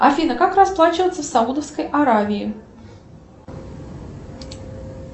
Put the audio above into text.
афина как расплачиваться в саудовской аравии